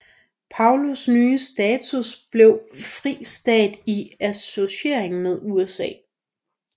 Palaus nye status blev Fri Stat i Associering med USA